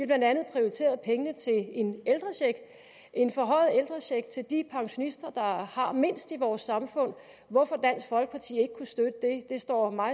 blandt andet prioriteret penge til en en forhøjet ældrecheck til de pensionister der har mindst i vores samfund hvorfor dansk folkeparti ikke kunne støtte det står